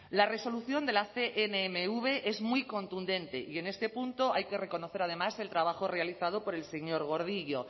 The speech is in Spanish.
la resolución de la cnmv es muy contundente y en este punto hay que reconocer además el trabajo realizado por el señor gordillo